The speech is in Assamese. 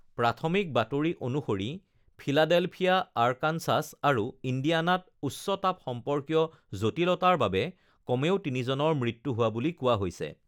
প্ৰাথমিক বাতৰি অনুসৰি ফিলাডেলফিয়া, আৰ্কানচাছ আৰু ইণ্ডিয়ানাত উচ্চ তাপ সম্পৰ্কীয় জটিলতাৰ বাবে কমেও তিনিজনৰ মৃত্যু হোৱা বুলি কোৱা হৈছে